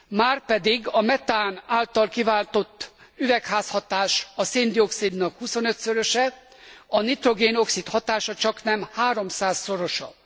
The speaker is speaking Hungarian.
Márpedig a metán által kiváltott üvegházhatás a szén dioxidnak huszonötszöröse, a nitrogén oxid hatása csaknem háromszázszorosa.